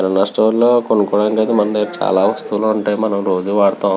కిరాణా store లో కొనుక్కోవడానికి అయితే మన దగ్గర చాల వస్తువుల ఉంటయి. మనం రోజు వాడతాం.